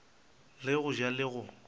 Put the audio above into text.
le go ja le go